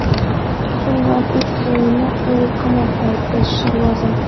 Shundan uch oyini u qamoqda o‘tkazishi lozim.